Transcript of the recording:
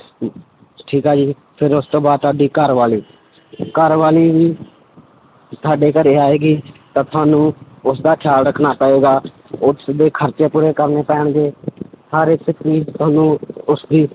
ਠੀਕ ਆ ਜੀ ਫਿਰ ਉਸ ਤੋਂ ਬਾਅਦ ਤੁਹਾਡੀ ਘਰਵਾਲੀ ਘਰਵਾਲੀ ਤੁਹਾਡੇ ਘਰੇ ਆਏਗੀ, ਤਾਂ ਤੁਹਾਨੂੰ ਉਸਦਾ ਖਿਆਲ ਰੱਖਣਾ ਪਏਗਾ ਉਸਦੇ ਖਰਚੇ ਪੂਰੇ ਕਰਨੇ ਪੈਣਗੇ ਹਰ ਇੱਕ ਚੀਜ਼ ਤੁਹਾਨੂੰ ਉਸਦੀ